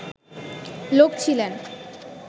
লোক ছিলেন